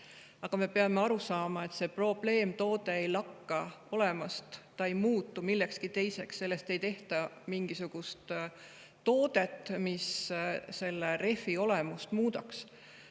Aga me peame aru saama, et see probleemtoode ei lakka olemast, ta ei muutu millekski teiseks, sellest ei tehta mingisugust sellist toodet, mis selle rehvi olemust muudaks.